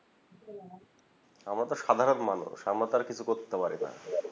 আমরা তো সাধারণ মানুষ আমরা তো আর কিছু করতে পারি না